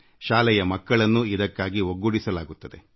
ಶಾಲೆಯ ಮಕ್ಕಳನ್ನೂ ಇದಕ್ಕಾಗಿ ಒಗ್ಗೂಡಿಸಲಾಗುತ್ತದೆ